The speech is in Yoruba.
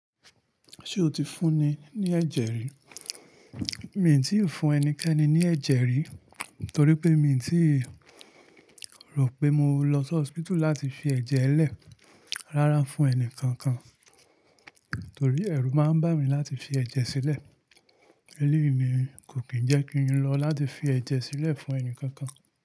Ṣé o ti fún ni ní ẹ̀jẹ̀ rí? Mi tí n fún ẹnikẹ́ni ní ẹ̀jẹ̀ rí torí pé mi n tí n rò pé mo lọ sí hospital láti fi ẹ̀jẹ̀ lẹ̀, rárá fún ẹnì kankan, torí ẹ̀rù máa ń bà mí láti fi ẹ̀jẹ̀ sílẹ̀. Eleyi ni kò kín jẹ́ kí n lọ láti fi ẹ̀jẹ̀ sílẹ̀ fún ẹni kankan.